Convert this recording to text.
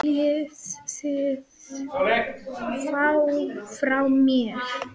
Hvað viljið þið frá mér?